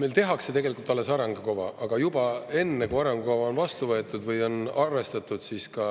Meil tehakse tegelikult alles arengukava, aga juba enne, kui arengukava on vastu võetud või on arvestatud ka